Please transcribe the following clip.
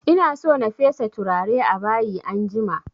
Ina so na fesa turare a bayi anjima